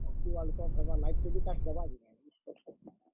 Hockey WorldCup ହେବା ।